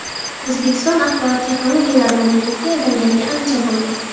O‘zbekiston axborot texnologiyalari mamlakatiga aylanganiga ancha bo‘ldi.